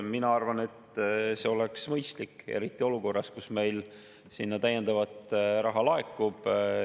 Mina arvan, et see oleks mõistlik, eriti olukorras, kus meil sinna täiendavat raha laekub.